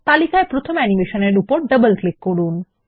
তালিকায় প্রথম অ্যানিমেশন এর উপর ডবল ক্লিক করুন